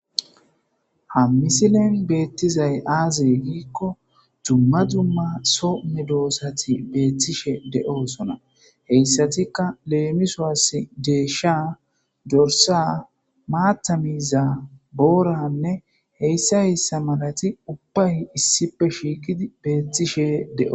ha misilen beettizay aaze giikko dumma dzumma some doossati beettishe de7oosona heyssatikka leemisowas deesha dorsa maata miiza booranne heyssa heyssa malati ubbay issipe shiiqidi beettishe de7o